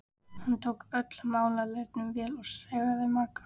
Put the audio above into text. Hann tók öllum málaleitunum vel og sefaði marga.